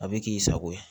A bɛ k'i sago ye